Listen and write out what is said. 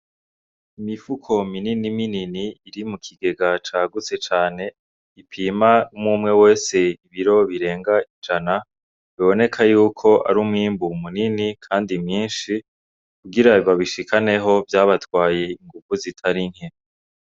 Imifuko minini minini, iri mu kigega cagutse cane, ipima umwe umwe wese nk'ibiro birenga ijana. Biboneka yuko ari umwimbu munini kandi mwinshi. Kugira babishikaneho vyabatwaye inguvu zitari nke.